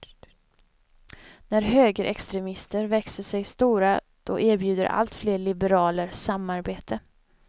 När högerextremister växer sig stora, då erbjuder alltfler liberaler samarbete.